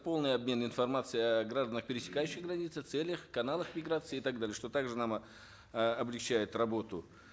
полный обмен информацией о гражданах пересекающих границу целях каналах миграции и так далее что так же нам э облегчает работу